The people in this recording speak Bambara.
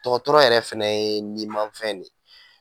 Dɔgɔtɔrɔ yɛrɛ fɛnɛ ye nin mafɛn ne ye